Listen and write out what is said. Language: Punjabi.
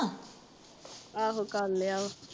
ਆਹੋ ਕਰ ਲਿਆ ਵਾ